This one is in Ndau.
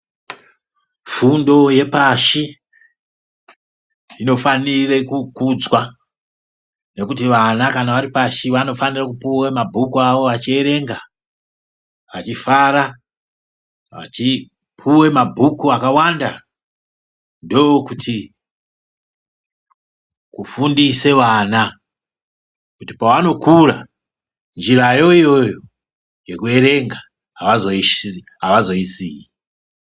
Fundo yepashi, inofanira kukudzwa, nokuti vana kana vari pashi vanofanira kupuwa mabhuku avo vachierenga, achifara, achipuwa mabhuku akawanda, ndokuti kufundisa vana, kuti pavanokura njirayo iyoyo yekuerenga avazoyisiyi.